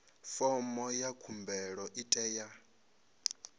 fomo ya khumbelo i tea